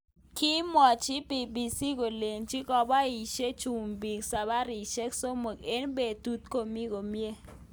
Kimwochi BBC kolenji ngoboishe chumbik sabarishek somok eng betut komi komye.